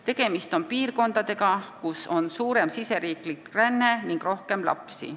Tegemist on piirkondadega, kuhu on suurem riigisisene ränne ning kus on ka rohkem lapsi.